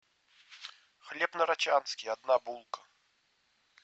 хлеб нарочанский одна булка